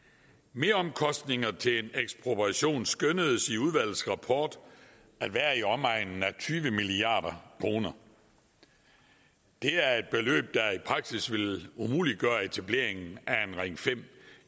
meromkostninger til en ekspropriation skønnedes i udvalgets rapport at være i omegnen af tyve milliard kroner det er et beløb der i praksis ville umuliggøre etableringen af en ring fem